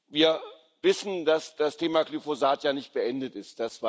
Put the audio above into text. Wir wissen, dass das Thema Glyphosat ja nicht beendet ist.